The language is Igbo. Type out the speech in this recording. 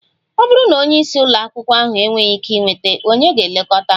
Ọ bụrụ na onye isi ụlọ akwụkwọ ahụ enweghị ike ịnweta, ònye ga-elekọta m?